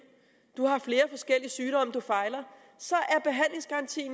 du har måske flere forskellige sygdomme så